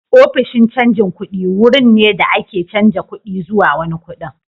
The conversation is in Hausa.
Ofishin canjin kuɗi wurin ne da ake canza kuɗi zuwa wani kuɗin.